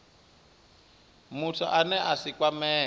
muthu ane a si kwamee